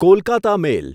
Kolkata મેલ